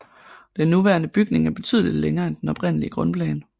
Den nuværende bygning er betydeligt længere end den oprindelige grundplan